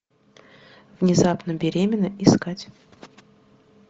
внезапно беременна искать